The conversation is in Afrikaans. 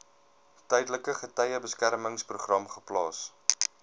tydelike getuiebeskermingsprogram geplaas